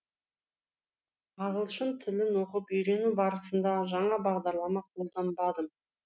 ағылшын тілін оқып үйрену барысында жаңа бағдарлама қолданбадым